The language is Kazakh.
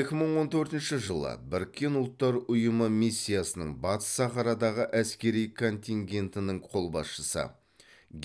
екі мың он төртінші жылы біріккен ұлттар ұйымы миссиясының батыс сахарадағы әскери контингентінің қолбасшысы